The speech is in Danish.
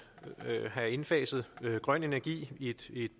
have indfaset grøn energi i et